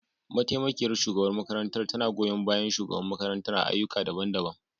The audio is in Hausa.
Mataimakiyar shugabar makarantar tana goyon bayan shugaban makarantar a ayyuka daban-daban.